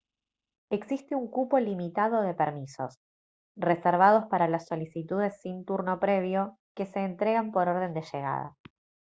existe un cupo limitado de permisos reservados para las solicitudes sin turno previo que se entregan por orden de llegada